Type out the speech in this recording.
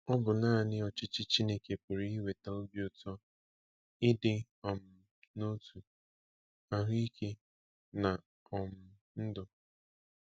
Ọ bụ nanị ọchịchị Chineke pụrụ iweta obi ụtọ, ịdị um n’otu, ahụ́ ike, na um ndụ.